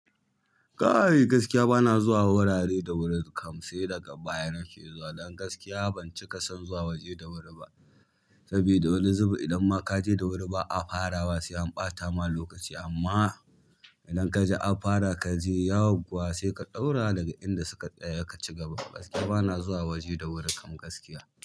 Kai gaskiya bana zuwa wurare da wuri kamsi daga baya nake zuwa. Don gaskiya ban cika son zuwa waje da wuri ba. Sabida wani zubi idan ma kaje da wuri ba a farawa sai an ɓata ma lokaci amma idan kaji an fara kaje yauwa sai ka ɗaura daga inda suka saya ka ci gaba. Gaskiya bana zuwa waje da wuri kam gaskiya.